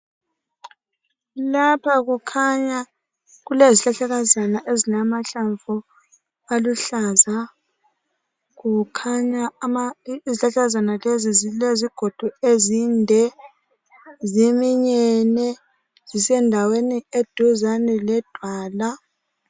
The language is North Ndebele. Lapha kukhanya kulezihlahlakazana ezilamahlamvu aluhlaza. Kukhanya izihlahlakazana lezi zilezigodo ezinde, ziminyene zisendaweni eduzane ledwala.